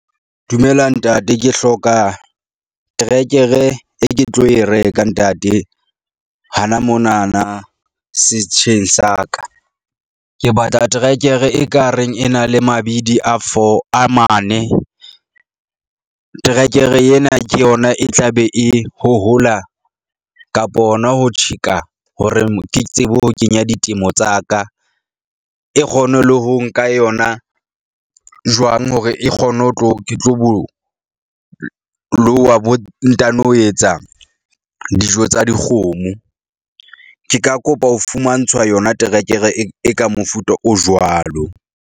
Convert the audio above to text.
Dumela ntate, ke hloka trekere e ke tlo e reka ntate hana mona na setsheng sa ka. Ke batla terekere ekareng e na le mabidi a four a mane. Terekere yena ke yona e tla be e hohola kapo hona ho tjheka hore ke tsebe ho kenya ditemo tsa ka. E kgone le ho nka yona jwang hore e kgone ho tlo ke tlo bo loha bo ntano etsa dijo tsa dikgomo. Ke ka kopa ho fumantshwa yona terekere e ka mofuta o jwalo.